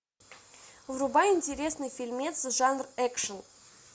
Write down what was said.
врубай интересный фильмец жанр экшн